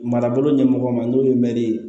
Marabolo ɲɛmɔgɔ ma n'o ye mɛri ye